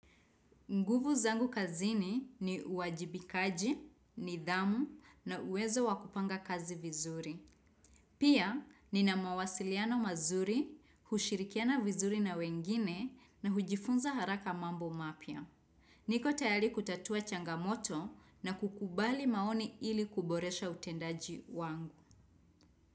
Nguvu zangu kazini ni uwajibikaji, nidhamu na uwezo wa kupanga kazi vizuri. Pia, nina mawasiliano mazuri, hushirikiana vizuri na wengine na hujifunza haraka mambo mapya. Niko tayari kutatua changamoto na kukubali maoni ili kuboresha utendaji wangu.